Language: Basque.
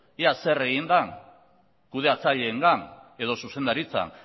ea zer egin den kudeatzaileengan edo zuzendaritzan